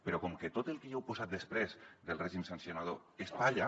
però com que tot el que hi heu posat després del règim sancionador és palla